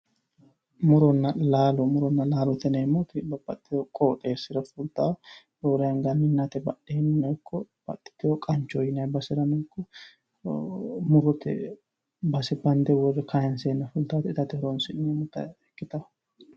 Muronna laalote yineemmoti babbaxxewoo qooxeessira fultawoo roore anga minnate badheennino ikko babbaxxewoo qanchoho yinaanni baserano murote bayiicho bande worree kayiinseenna fultawoota gate horoonsi'neemmota ikkitawoo